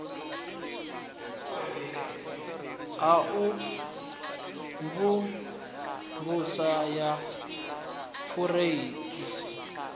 ha u mvumvusa ya fureisi